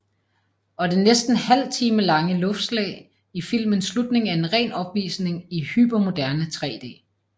Og det næsten halvtimelange luftslag i filmens slutning er ren opvisning i hypermoderne 3D